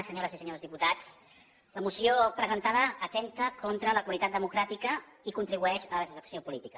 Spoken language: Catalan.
senyores i senyors diputats la moció presentada atempta contra la qualitat democràtica i contribueix a la desafecció política